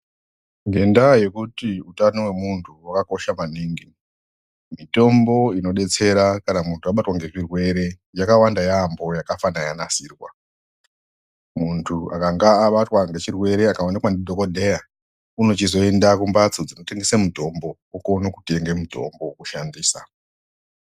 Ngendaa yekuti utano wemuntu wakakosha maningi. Mitombo inobetsera kana muntu wabatwa nezvirwere yakawanda yaampho yakafana yanasirwa. Muntu akanga abatwa nechirwere akaonekwa ndidhokodheya unochizoenda kumphatso dzinotengese mitombo okone kutenge mutombo wokushandisa.